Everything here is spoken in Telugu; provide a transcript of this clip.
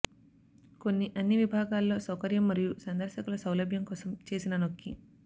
కొన్ని అన్ని విభాగాల్లో సౌకర్యం మరియు సందర్శకులు సౌలభ్యం కోసం చేసిన నొక్కి